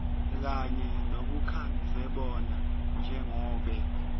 kanye nebukadzebona njengobe